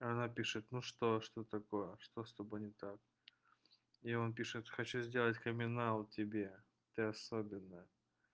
она пишет ну что что такое что с тобой не так и он пишет хочу сделать криминал тебе ты особенная